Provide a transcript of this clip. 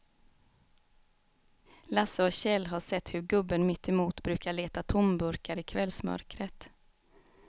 Lasse och Kjell har sett hur gubben mittemot brukar leta tomburkar i kvällsmörkret.